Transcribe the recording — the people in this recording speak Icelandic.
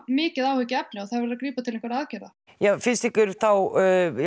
mikið áhyggjefni og það verður að grípa til einhverra aðgerða fnnst ykkur þá